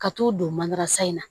Ka t'u don manansan in na